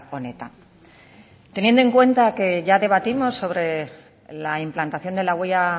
honetan teniendo en cuenta que ya debatimos sobre la implantación de la huella